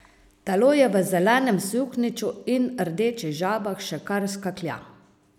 Telo v zelenem suknjiču in rdečih žabah še kar skaklja.